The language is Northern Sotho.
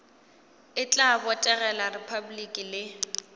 e tla botegela repabliki le